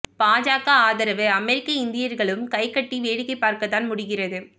பாஜக ஆதரவு அமெரிக்க இந்தியர்களும் கைக்கட்டி வேடிக்கை பார்க்கத் தான் முடிகிறது